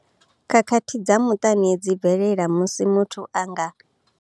Khakhathi dza muṱani dzi bvelela musi muthu a nga.